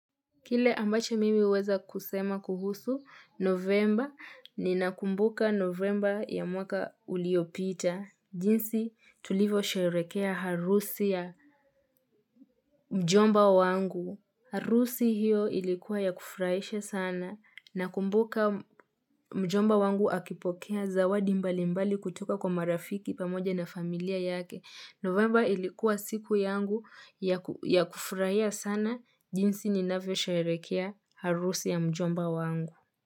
Kile ambacho mimi huweza kusema kuhusu, novemba ninakumbuka novemba ya mwaka uliopita. Jinsi tulivyo sherehekea harusi ya mjomba wangu. Harusi hiyo ilikuwa ya kufurahisha sana. Nakumbuka mjomba wangu akipokea zawadi mbali mbali kutoka kwa marafiki pamoja na familia yake. November ilikuwa siku yangu ya kufurahia sana jinsi ninavyo sherehekea harusi ya mjomba wangu.